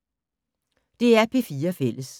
DR P4 Fælles